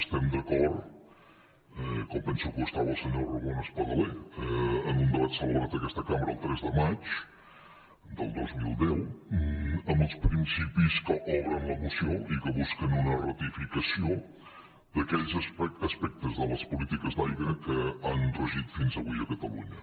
estem d’acord com penso que ho estava el senyor ramon espadaler en un debat celebrat en aquesta cambra el tres de maig del dos mil deu amb els principis que obren la moció i que busquen una ratificació d’aquells aspectes de les polítiques d’aigua que han regit fins avui a catalunya